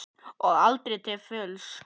Og aldrei til fulls.